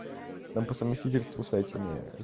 там по совместительству с этими